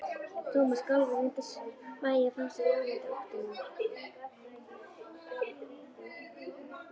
Thomas skalf en reyndi að bægja frá sér lamandi óttanum.